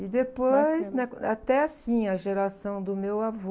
E depois, né? Até assim, a geração do meu avô...